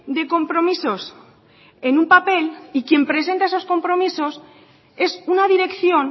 de compromisos en un papel y quien presenta esos compromisos es una dirección